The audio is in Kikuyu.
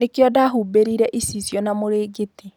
Nĩkĩo ndahũmbĩrire icicio na mũrengeti.